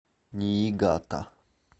ниигата